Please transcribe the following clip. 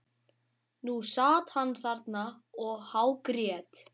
Nú sat hann þarna og hágrét.